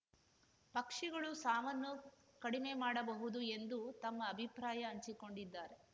ಪಕ್ಷಿಗಳು ಸಾವನ್ನು ಕಡಿಮೆ ಮಾಡಬಹುದು ಎಂದು ತಮ್ಮ ಅಭಿಪ್ರಾಯ ಹಂಚಿಕೊಂಡಿದ್ದಾರೆ